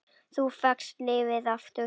Þú fékkst lífið aftur.